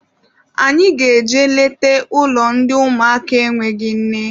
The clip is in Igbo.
Anyị ga-eje nleta n'ụlọ ndị ụmụaka enweghị nne.